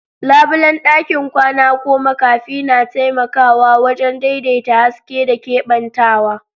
Labulen ɗakin kwana ko makafi na taimakawa wajen daidaita haske da keɓantawa.